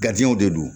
w de don